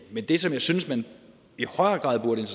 men det som jeg synes man i højere grad burde